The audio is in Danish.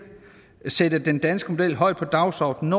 vil sætte den danske model højt på dagsordenen